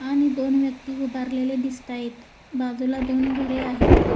आणि दोन व्यक्ती उभारलेले दिसत आहेत बाजूला दोन घरे आहेत.